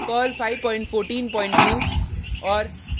Perl 5142 और